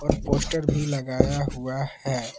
और पोस्टर भी लगाया हुआ हैं।